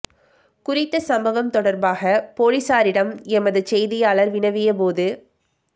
குறித்த சம்பவம் தொடர்பாக பொலிசாரிடம் எமது செய்தியாளர் வினவிய போது